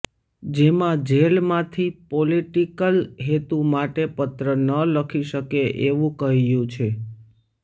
જેમાં જેલ માંથી પોલીટીકલ હેતુ માટે પત્ર ન લખી શકે એવુ કહ્યું છે